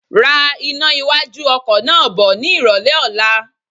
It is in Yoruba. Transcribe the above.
Ra iná iwájú ọkọ̀ náà bọ ni ìrólé ọ̀la.